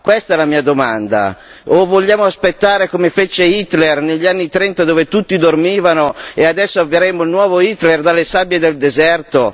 Questa è la mia domanda. O vogliamo aspettare, come fece Hitler negli anni '30, dove tutti dormivano, e adesso avremo il nuovo Hitler dalle sabbie del deserto?